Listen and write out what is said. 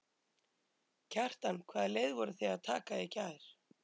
Kjartan: Hvaða leið voruð þið að taka í gær?